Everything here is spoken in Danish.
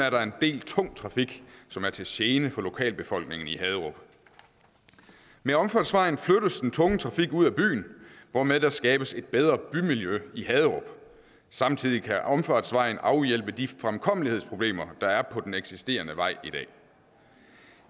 er der en del tung trafik som er til gene for lokalbefolkningen i haderup med omfartsvejen flyttes den tunge trafik ud af byen hvormed der skabes et bedre bymiljø i haderup samtidig kan omfartsvejen afhjælpe de fremkommelighedsproblemer der er på den eksisterende vej i dag